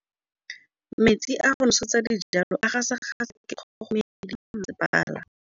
Metsi a go nosetsa dijalo a gasa gasa ke kgogomedi ya masepala.